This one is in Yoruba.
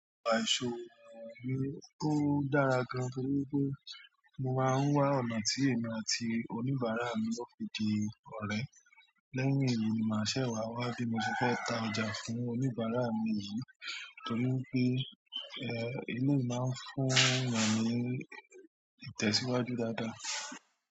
Ó dára gan torí pé mo máa n wá ọ̀nà tí èmi àti oníbárà.mi ó fi di ọ̀rẹ́. Lẹ́yìn èyí ni màá ṣẹ̀ wá wá bí mo ti fẹ́ ta ọjà fún oníbàárà mi yìí torí pé, eléyìí máa ń fún èèyàn ní ìtẹ̀síwájú dáadáa.